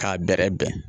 K'a bɛrɛ bɛn